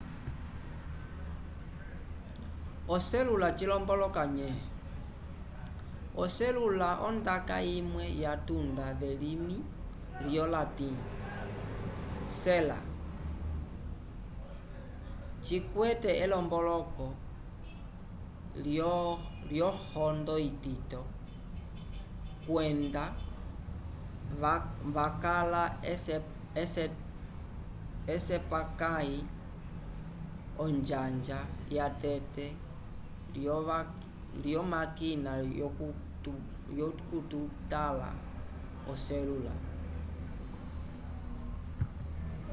oselula cilomboloka nye? oselula ondaka imwe yatunda velimi yolatim sella cikwete elomboloko lyohondo itito” kwenda wakala esepakãyi onjanja yatete lyomakina yokutala oselula